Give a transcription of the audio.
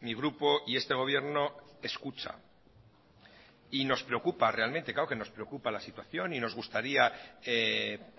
mi grupo y este gobierno escucha y nos preocupa realmente claro que nos preocupa la situación y nos gustaría